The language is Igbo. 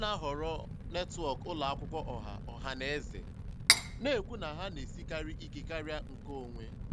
Ọ na-ahọrọ netwọk ụlọ akwụkwọ ọha ọha na eze, na-ekwu na ha na-esikarị ike karịa nke onwe.